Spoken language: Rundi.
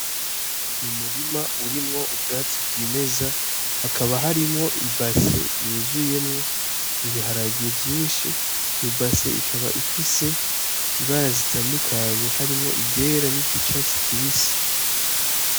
N'urima urimwo ubwatsi bwimeza hakaba harimwo ibase yuzuyemwo ibiharage vyishi iyo base ikaba ifise ibara zitandukanye harimwo iryera ni ry'icatsi kibisi.